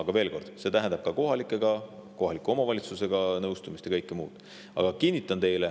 Ent veel kord: see tähendab ka kohalikega, kohaliku omavalitsusega nõu ja kõike muud.